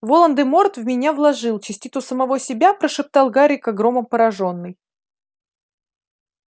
волан-де-морт в меня вложил частицу самого себя прошептал гарри как громом поражённый